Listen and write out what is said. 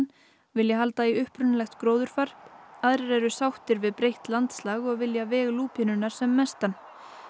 vilja halda í upprunalegt gróðurfar aðrir eru sáttir við breytt landslag og vilja veg lúpínunnar sem mestan